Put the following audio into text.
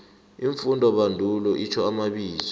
iimfundobandulo itjho amabizo